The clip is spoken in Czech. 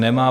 Nemá.